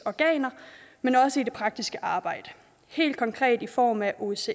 organer men også i det praktiske arbejde helt konkret i form af osces